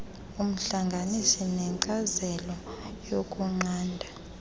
umhlanganisi wenkcazelo yokunqanda